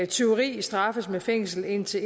tyveri straffes med fængsel i indtil